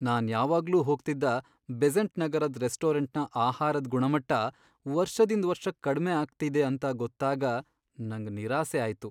ನಾನ್ ಯಾವಾಗ್ಲೂ ಹೋಗ್ತಿದ್ದ ಬೆಸೆಂಟ್ ನಗರದ್ ರೆಸ್ಟೋರೆಂಟ್ನ ಆಹಾರದ್ ಗುಣಮಟ್ಟ ವರ್ಷದಿಂದ್ ವರ್ಷಕ್ ಕಡ್ಮೆ ಆಗ್ತಿದೆ ಅಂತ ಗೊತ್ತಾಗ ನಂಗ್ ನಿರಾಸೆ ಆಯ್ತು.